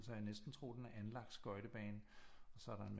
Så jeg næsten tro den er anlagt skøjtebane og så er der en